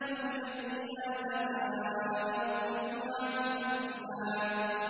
فَبِأَيِّ آلَاءِ رَبِّكُمَا تُكَذِّبَانِ